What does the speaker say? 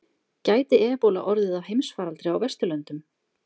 Gæti ebóla orðið að heimsfaraldri á Vesturlöndum?